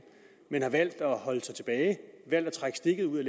men har valgt at holde sig tilbage valgt at trække stikket ud